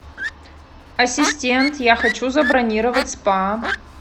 ассистент я хочу забронировать спа